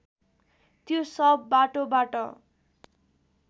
त्यो शव बाटोबाट